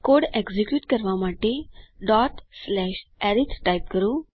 code execute કરવા માટે arith type કરો